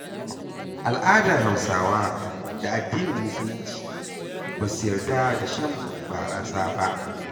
Al'adar Hausawa da addinin musulunci ba su yarda da shan barasa ba.